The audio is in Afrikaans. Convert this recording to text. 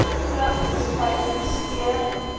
pluk bespuiting skeer